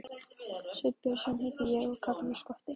Sveinn Björnsson heiti ég og kallaður Skotti.